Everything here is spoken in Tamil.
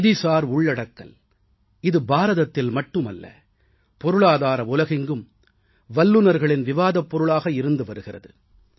நிதிசார் உள்ளடக்கல் இது பாரதத்தில் மட்டுமல்ல பொருளாதார உலகெங்கும் வல்லுனர்களின் விவாதப் பொருளாக இருந்து வருகிறது